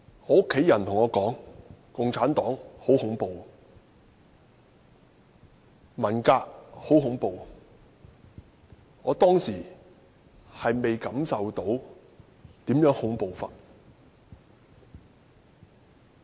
我的家人對我說，共產黨很恐怖，文革很恐怖，我當時並未感受到如何恐怖。